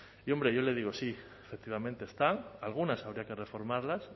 y hombre yo le digo sí efectivamente están algunas habría que reformarlas